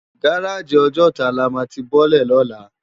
Gáráji Òjòtá lá má ti bòlè lólà